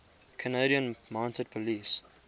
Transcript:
canadian mounted police